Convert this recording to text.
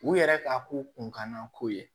U yɛrɛ ka ko kunkanna ko ye